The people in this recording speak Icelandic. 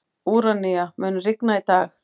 Úranía, mun rigna í dag?